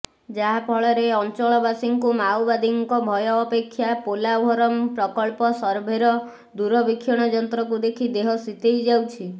ଯାହାଫଳରେ ଅଞ୍ଚଳବାସୀଙ୍କୁ ମାଓବାଦୀଙ୍କ ଭୟ ଅପେକ୍ଷା ପୋଲାଭରମ ପ୍ରକଳ୍ପ ସର୍ଭେର ଦୂରବୀକ୍ଷଣ ଯନ୍ତ୍ରକୁ ଦେଖି ଦେହ ଶିତେଇ ଯାଉଛି